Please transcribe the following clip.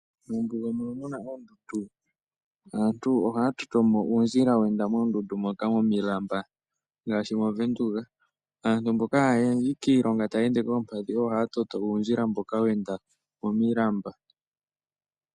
Mombuga mono muna oondundu ngaashi movenduka aantu mboka hayayi kiilonga taya ende koompadhi oyo haya toto uundjila mboka wa enda momilamba.